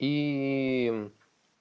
ии